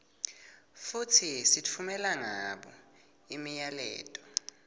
futsi sitfumela ngabo imiyaleto